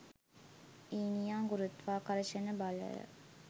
ඊනියා ගුරුත්වාකර්ෂණ බලය